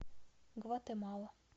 гватемала